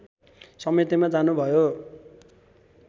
समितिमा जानुभयो